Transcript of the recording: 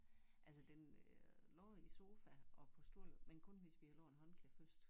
Altså den øh lå i sofa og på stol men kun hvis vi lagde et håndklæde først